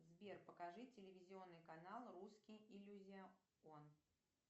сбер покажи телевизионный канал русский иллюзион